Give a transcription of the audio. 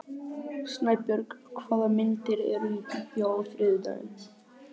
Snæbjörg, hvaða myndir eru í bíó á þriðjudaginn?